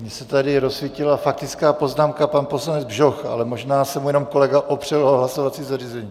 Mně se tady rozsvítila faktická poznámka, pan poslanec Bžoch, ale možná se mu jenom kolega opřel o hlasovací zařízení.